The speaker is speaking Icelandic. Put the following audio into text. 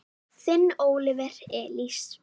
Þinn Óliver Elís.